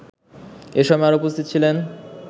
এসময় আরও উপস্থিত ছিলেন